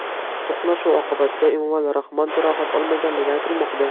To‘qnashuv oqibatida Emomali Rahmon jarohat olmaganligi aytilmoqda.